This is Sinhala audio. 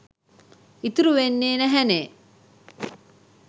ඉතුරු වෙන්නේ නැහැනේ.